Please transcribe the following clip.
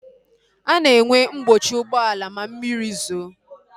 A na-enwe mkpọchi ụgbọala ma mmiri zoo